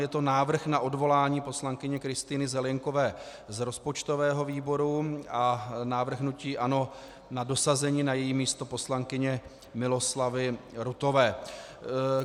Je to návrh na odvolání poslankyně Kristýny Zelienkové z rozpočtového výboru a návrh hnutí ANO na dosazení na její místo poslankyně Miloslavy Rutové.